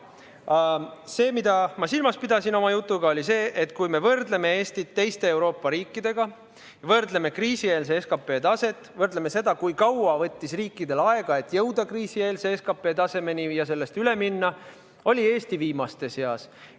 Aga see, mida ma silmas pidasin oma jutuga, oli see, et kui me võrdleme Eestit teiste Euroopa riikidega, võrdleme kriisieelse SKP taset, võrdleme seda, kui kaua võttis riikidel aega, et jõuda kriisieelse SKP tasemeni ja sellest üle minna, siis oli Eesti viimaste seas.